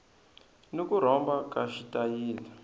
ni ku rhomba ka xitayili